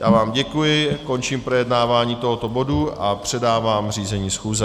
Já vám děkuji, končím projednávání tohoto bodu a předávám řízení schůze.